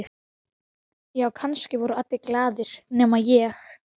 Já, kannski voru allir glaðir nema ég.